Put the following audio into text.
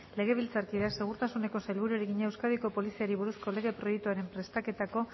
legebiltzarkideak segurtasuneko sailburuari egina euskadiko poliziari buruzko lege proiektuaren prestaketako